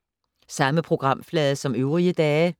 Samme programflade som øvrige dage